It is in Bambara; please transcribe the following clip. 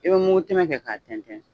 I be mugtɛmɛ kɛ ka tɛntɛn.